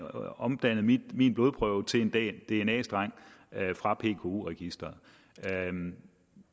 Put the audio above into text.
omdannet en blodprøve til en dna streng fra pku registeret